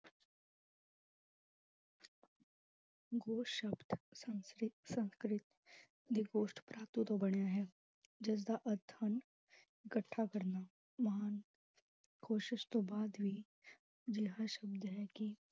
ਸ਼ਬਦ ਸੰਸਕ੍ਰਿਤ ਸੰਸਕ੍ਰਿਤ ਤੋਂ ਬਣਿਆ ਹੈ, ਜਿਸਦਾ ਅਰਥ ਹਨ ਇਕੱਠਾ ਕਰਨਾ, ਮਹਾਨ ਕੋਸ਼ਿਸ਼ ਤੋਂ ਬਾਅਦ ਵੀ ਅਜਿਹਾ ਸ਼ਬਦ ਹੈ ਕਿ